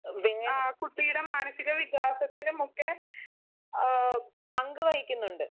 ആ കുട്ടിയുടെ മാനസീക വികാസത്തിനുമൊക്കെ ആ പങ്ക് വഹിക്കുന്നുണ്ട്.